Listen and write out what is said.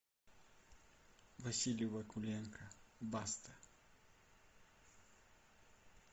василий вакуленко баста